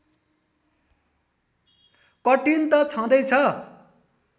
कठीन त छँदैछ